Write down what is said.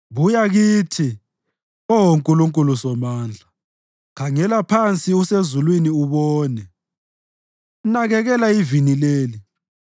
Buya kithi, Oh Nkulunkulu Somandla! Khangela phansi usezulwini ubone! Nakekela ivini leli,